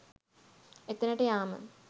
එතැනට යාම